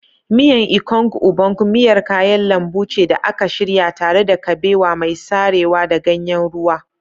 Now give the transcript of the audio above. Miyan Ikong Ubong miyar kayan lambu ce da aka shirya tare da kabewa mai sarewa da ganyen ruwa.